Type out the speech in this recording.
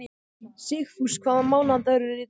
Sigfús, hvaða mánaðardagur er í dag?